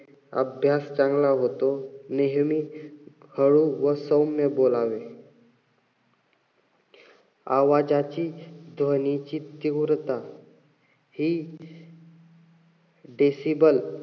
अभ्यास चांगला होतो. नेहमी हळू व सौम्य बोलावे. आवाजाची ध्वनीची तीव्रता हि decible,